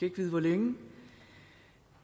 ikke vide hvor længe